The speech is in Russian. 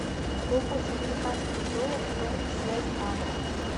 какой курс американского доллара в промсвязьбанке